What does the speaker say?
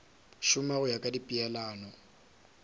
šoma go ya ka dipeelano